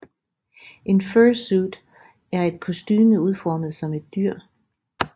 En fursuit er et kostume udformet som et dyr